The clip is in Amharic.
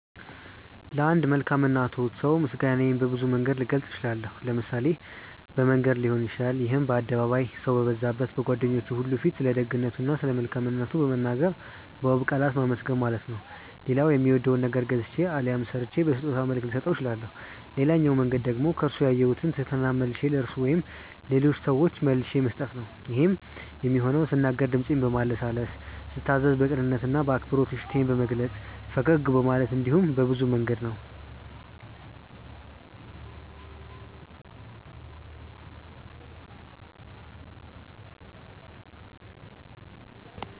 ለአንድ መልካም እና ትሁት ሰው ምስጋናዬን በብዙ መንገድ ልገልጽ እችላለሁ። ለምሳሌ በመንገር ሊሆን ይችላል ይሄም በአደባባይ፣ ሰው በበዛበት፣ በጓደኞቹ ሁሉ ፊት ስለደግነቱ እና ስለመልካምነቱ በመናገር በውብ ቃላት ማመስገን ማለት ነው። ሌላው የሚወደውን ነገር ገዝቼ አሊያም ሰርቼ በስጦታ መልክ ልሰጠው እችላለሁ። ሌላኛው መንገድ ደግሞ ከርሱ ያየሁትን ትህትና መልሼ ለርሱ ወይም ለሌሎች ሰዎች መልሼ መስጠት ነው። ይሄም የሚሆነው ስናገር ድምጼን በማለስለስ፤ ስታዘዝ በቅንነት እና በአክብሮት እሺታዬን በመግለጽ፤ ፈገግ በማለት እንዲሁም በብዙ መንገድ ነው።